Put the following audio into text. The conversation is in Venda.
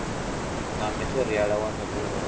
na matheriala wa mibvumo u